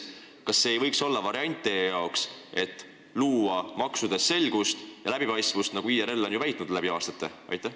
Kas teie jaoks ei võiks olla variant luua maksudes selgust ja läbipaistvust, nagu IRL on väitnud läbi aastate?